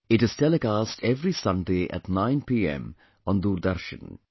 It is telecast every Sunday at 9 pm on Doordarshan